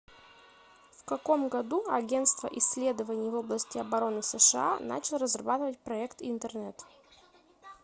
в каком году агентство исследований в области обороны сша начал разрабатывать проект интернет